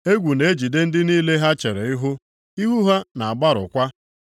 Egwu na-ejide ndị niile ha chere ihu. Ihu ha na-agbarụkwa.